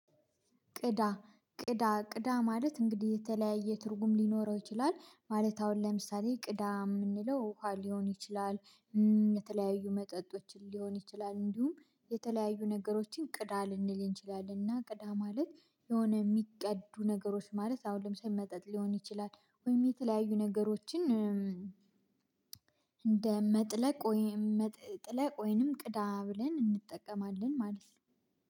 ቅዳ፣ ቅዳ፣ ቅዳ ማለት እንግዲህ የተለያየ ትርጉም ሊኖረው ይችላል ማለት አሁን ለምሳሌ ቅዳ የምንለው ውሃ ሊሆን ይችላል የተለያዩ መጠጦችን ሊሆን ይችላል እንዲሁም የተለያዩ ነገሮችን ቅዳ ልንል እንችላለን፤ እና ቅዳ ማለት የሆነ የሚቀዱ ነገሮች ማለት አሁን ለምሳሌ መጠጥ ሊሆን ይችላል ወይም የተለያዩ ነገሮችን እንደ መጥለቅ ወይም መጥ ጥለቅ ወይንም ቅዳ ብለን እንጠቀማለን ማለት ነው።